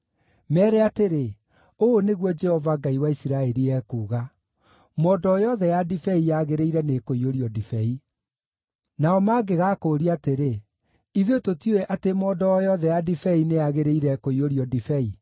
“Meere atĩrĩ: ‘Ũũ nĩguo Jehova, Ngai wa Isiraeli ekuuga: Mondo o yothe ya ndibei yagĩrĩire nĩkũiyũrio ndibei.’ Nao mangĩgaakũũria atĩrĩ, ‘Ithuĩ tũtiũĩ atĩ mondo o yothe ya ndibei nĩyagĩrĩire kũiyũrio ndibei?’